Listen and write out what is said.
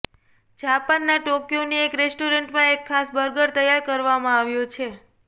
જાપાનના ટોક્યોની એક રેસ્ટોરાંમાં એક ખાસ બર્ગર તૈયાર કરવામાં આવ્યો છે